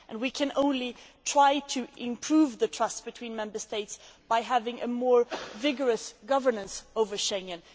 We can only try to improve the trust between Member States by having a more vigorous governance over Schengen